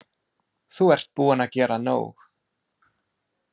Þú ert búinn að gera nóg.